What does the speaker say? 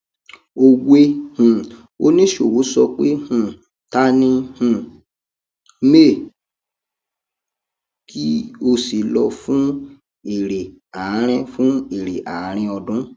òwe um oníṣòwò sọ pé um ta ní um may kí o sì lọ fun èrè àárín fun èrè àárín ọdún